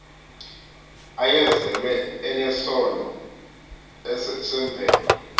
ayezelwe enesono semvelo